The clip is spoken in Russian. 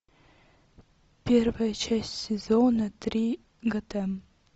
первая часть сезона три готэм